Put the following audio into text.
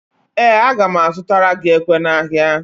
Ee, aga m azụtara gị ekwe n'ahịa